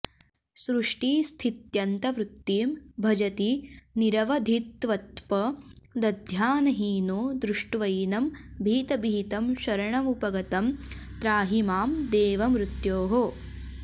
सृष्टिस्थित्यन्तवृत्तिं भजति निरवधित्वत्पदध्यानहीनो दृष्ट्वैनं भीतभीतं शरणमुपगतं त्राहि मां देव मृत्योः